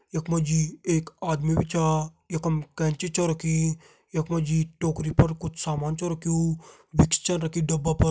यख मा जी एक आदमी भी छ यखम कैंची छ रखीं यख मा जी टोकरी पर कुछ सामान छा रख्युं विक्स छ रखीं डब्बा पर।